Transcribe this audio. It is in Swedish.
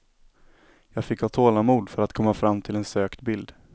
Jag fick ha tålamod för att komma fram till en sökt bild.